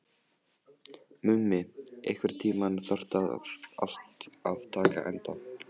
Mummi, einhvern tímann þarf allt að taka enda.